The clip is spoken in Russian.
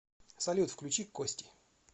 салют включи кости